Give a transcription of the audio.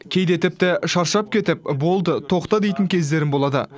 кейде тіпті шаршап кетіп болды тоқта дейтін кездерім болады